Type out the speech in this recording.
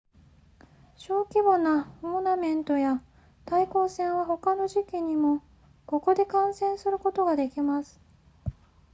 小規模なトーナメントや対抗戦は他の時期にもここで観戦することができます